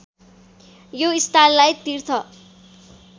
यो स्थानलाई तीर्थ